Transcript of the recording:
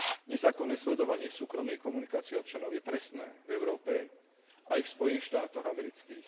Nezákonné sledovanie súkromnej komunikácie občanov je trestné v Európe aj v Spojených štátoch amerických.